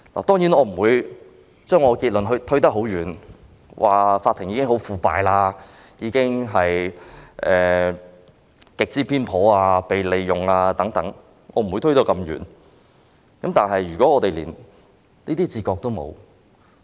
當然，我不會把結論推得很遠，說法庭已十分腐敗、極之偏頗、被利用等，我不會推到這麼遠，但如果我們連這種自覺也沒有......